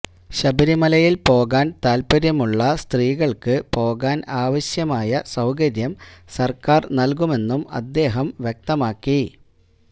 ശബരി ലയില് പോകാന് താത്പര്യമുള്ള സ്ത്രീകള്ക്ക് പോകാന് ആവശ്യമായ സൌകര്യം സര്ക്കാര് നല്കുമെന്നും അദ്ദേഹം വ്യക്തമാക്കി